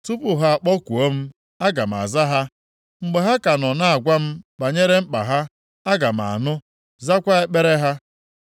Tupu ha akpọkuo m, aga m aza ha. Mgbe ha ka nọ na-agwa m banyere mkpa ha, aga m anụ, zakwa ekpere ha.